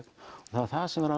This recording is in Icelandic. það var það sem var